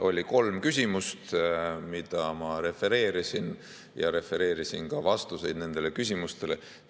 Oli kolm küsimust, mida ma refereerisin, ja refereerisin ka vastuseid nendele küsimustele.